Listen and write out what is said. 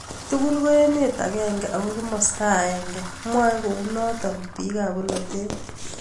Tukul ko emet akenge ako kimasta akenge, mwae kounot bik ab bolotet.